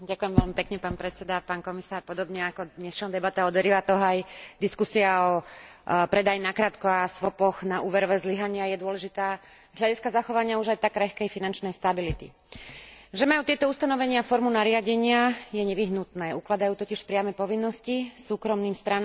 Podobne ako dnešná debata o derivátoch, aj diskusia o predaji nakrátko a swapoch na úverové zlyhania je dôležitá z hľadiska zachovania už aj tak krehkej finančnej stability. Že majú tieto ustanovenia formu nariadenia je nevyhnutné ukladajú totiž priame povinnosti súkromným stranám zverejňovať informácie.